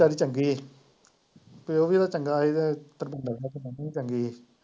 ਚੱਲ ਚੰਗੀ ਏ ਪਿਉ ਵੀ ਓਦਾ ਚੰਗਾ ਹੀ ਤੇ ਮੰਮੀ ਤਾਂ ਚੰਗੀ ਏ।